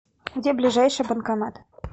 где ближайший банкомат